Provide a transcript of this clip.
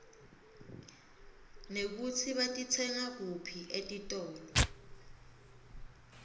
nekutsi batitsenga kuphi etitolo